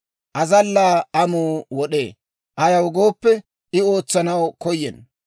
Azallaa amuu wod'ee; ayaw gooppe, I ootsanaw koyenna.